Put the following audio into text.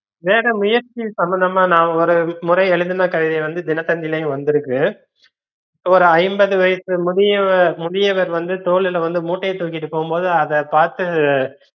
வேற முயற்சியின் சம்பந்தம்மா நா ஒருமுறை எழுதுன கவிதை வந்து தினத்தந்திளையும் வந்துருக்கு ஒரு ஐம்பது வயசு முதியவ~ முதியவர் வந்து தோலுள்ள வந்து மூட்டைய தூக்கிட்டு போம்போது அத பாத்து